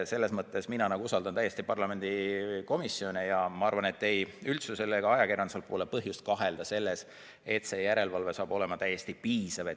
Ent mina usaldan täiesti parlamendi komisjone ja ma arvan, et ei üldsusel ega ajakirjandusel pole põhjust kahelda, et see järelevalve saab olema täiesti piisav.